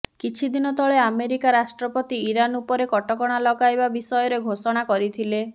କିଛିଦିନ ତଳେ ଆମେରିକା ରାଷ୍ଟ୍ରପତି ଇରାନ ଉପରେ କଟକଣା ଲଗାଇବା ବିଷୟରେ ଘୋଷଣା କରିଥିଲେ